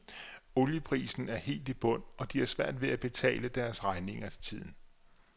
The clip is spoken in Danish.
Olieprisen er helt i bund, og de har svært ved at betale deres regninger til tiden.